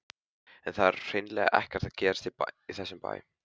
En það er hreinlega ekkert að gerast í þessum bæ.